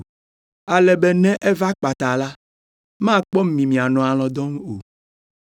Ale be ne eva kpata la, makpɔ mi mianɔ alɔ̃ dɔm o.